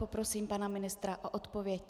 Poprosím pana ministra o odpověď.